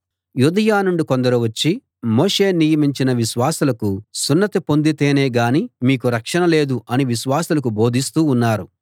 యూదయ నుండి కొందరు వచ్చి మోషే నియమించిన విశ్వాసులకు సున్నతి పొందితేనే గాని మీకు రక్షణ లేదు అని విశ్వాసులకు బోధిస్తూ ఉన్నారు